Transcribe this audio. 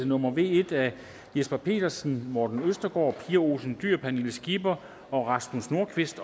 nummer v en af jesper petersen morten østergaard pia olsen dyhr pernille skipper og rasmus nordqvist